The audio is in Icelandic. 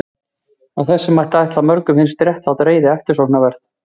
Af þessu mætti ætla að mörgum finnist réttlát reiði eftirsóknarverð geðshræring.